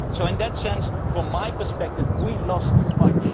In that sense, from my perspective, we lost too much.